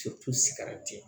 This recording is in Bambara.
sigira ten